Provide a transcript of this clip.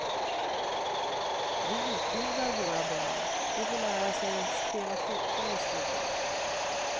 Vi utbildar våra barn, de får lära sig spela fotboll i skolan.